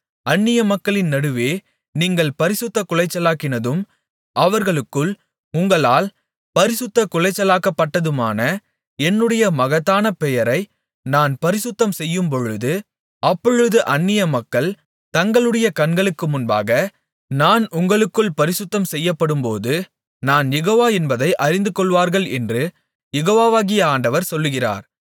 அந்நியமக்களின் நடுவே நீங்கள் பரிசுத்தக்குலைச்சலாக்கினதும் அவர்களுக்குள் உங்களால் பரிசுத்தக்குலைச்சலாக்கப்பட்டதுமான என்னுடைய மகத்தான பெயரை நான் பரிசுத்தம்செய்யும்பொழுது அப்பொழுது அந்நியமக்கள் தங்களுடைய கண்களுக்கு முன்பாக நான் உங்களுக்குள் பரிசுத்தம் செய்யப்படும்போது நான் யெகோவா என்பதை அறிந்துகொள்வார்கள் என்று யெகோவாகிய ஆண்டவர் சொல்லுகிறார்